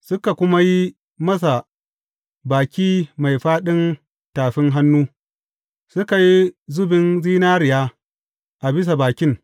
Suka kuma yi masa baki mai fāɗin tafi hannu, suka yi zubin zinariya a bisa bakin.